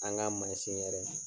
An ka mansin yɛrɛ.